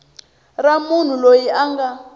ra munhu loyi a nga